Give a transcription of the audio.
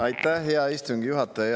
Aitäh, hea istungi juhataja!